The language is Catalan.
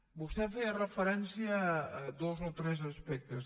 vostè feia referència a dos o tres aspectes